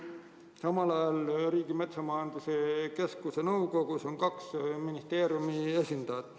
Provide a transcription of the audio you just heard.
Samal ajal on Riigimetsa Majandamise Keskuse nõukogus kaks ministeeriumi esindajat.